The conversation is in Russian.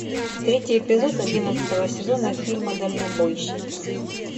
третий эпизод одиннадцатого сезона фильма дальнобойщики